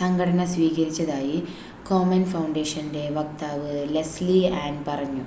സംഘടന സ്വീകരിച്ചതായി കോമെൻ ഫൗണ്ടേഷൻ്റെ വക്താവ് ലെസ്ലി ആൻ പറഞ്ഞു